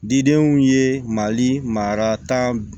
Didenw ye mali mara tan